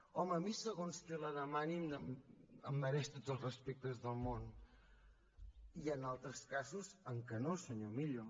home a mi segons qui la demani em mereix tots els respectes del món hi han altres casos en què no senyor millo